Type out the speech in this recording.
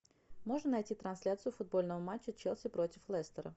можно найти трансляцию футбольного матча челси против лестера